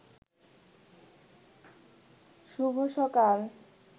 শুভ সকাল